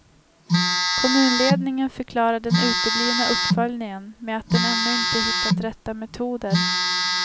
Kommunledningen förklarar den uteblivna uppföljningen med att den ännu inte hittat rätta metoder.